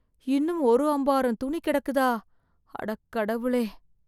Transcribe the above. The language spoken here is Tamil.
இன்னும் ஒரு அம்பாரம் துணி கிடக்குதா, அடக் கடவுளே!